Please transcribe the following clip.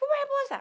Fomos repousar.